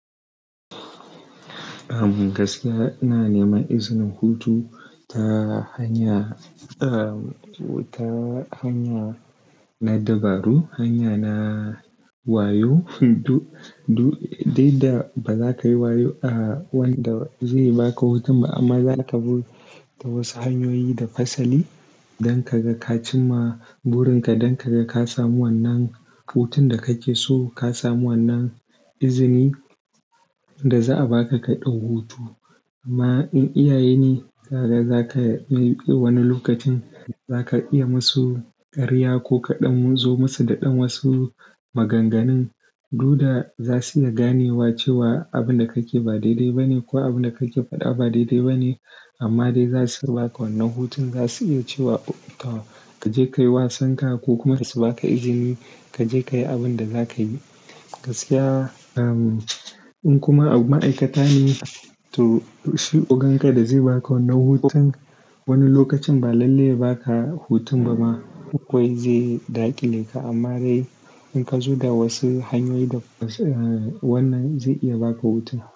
Gaskiya na nema izinin hutu ta hanya, ta hanya na dabaru, hanya na wayo. Duk da ba za ka yi wayo a wanda zai baka hutun ba amma za ka bi t a wasu hanyoyi da fasali don ka ga ka cimma burinka, don ka ga ka samu wannan hutun da kake so, ka samu wannan izini da za a baka ka ɗau hutu. Amma in iyaye ne, kaga za ka bi wani lokacin za ka iya musu ƙarya ko kaɗan zo musu da dan wasu maganganu. Du da za su iya ganewa cewa abin da kake ba daidai ba ne ko abin da kake faɗa ba daidai ba ne. Amma dai za su baka wannan hutun. Za su iya cewa ka je ka yi wasan ka ko kuma su baka izini ka je ka yi abin da za ka yi. Gaskiya in kuma ma'aikata ne, to shugaban ka da zai baka wannan hutun wani lokacin ba lalle ba ka hutun ba ma. Kawai zai daƙile ka amma dai in ka zo da wasu hanyoyi da wannan zai iya baka hutun.